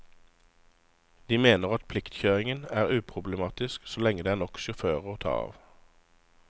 De mener at pliktkjøringen er uproblematisk så lenge det er nok sjåfører å ta av.